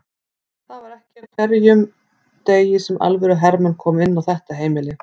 Það var ekki á hverjum degi sem alvöru hermenn komu inn á þetta heimili.